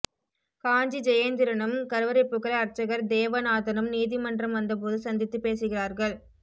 காஞ்சி ஜெயேந்திரனும் கருவறை புகழ் அர்ச்சகர் தேவநாதனும் நீதிமன்றம் வந்தபோது சந்தித்துப் பேசுகிறார்கள்